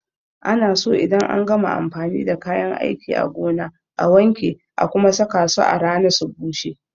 Ana so idan an gama amfani da kayan aiki a gona a wanke a kuma saka su a rana su bushe.